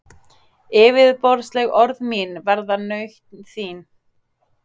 Yfirborðsleg orð mín verða nautn þín.